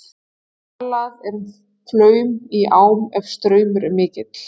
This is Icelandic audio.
Talað er um flaum í ám ef straumur er mikill.